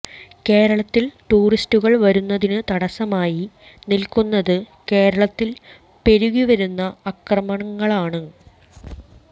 കേരളത്തിൽ ടൂറിസ്റ്റുകൾ വരുന്നതിന് തടസ്സമായി നിൽക്കുന്നത് കേരളത്തിൽ പെരുകിവരുന്ന അക്രമങ്ങളാണ്